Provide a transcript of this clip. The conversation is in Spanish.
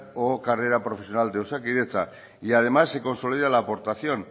o carrera profesional de osakidetza y además se consolida la aportación